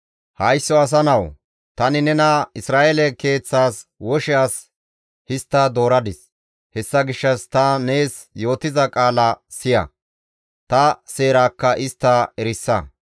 «Haysso asa nawu! Tani nena Isra7eele keeththas woshe as histta dooradis; hessa gishshas ta nees yootiza qaala siya; ta seerakka istta erisa.